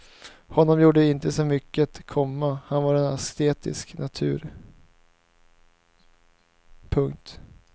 Honom gjorde det inte så mycket, komma han var en asketisk natur. punkt